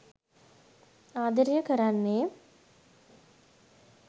ආදරය කරන්නේ